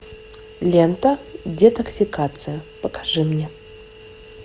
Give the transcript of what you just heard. лента детоксикация покажи мне